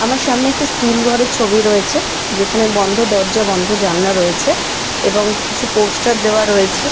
আমার সামনে একটি স্কুল ঘড়ের ছবি রয়েছে | যেখানে বন্ধ দরজা বন্ধ জানলা রয়েছে |এবং কিছু পোস্টার দেওয়া রয়েছে।